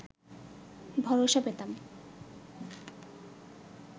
ভরসা পেতাম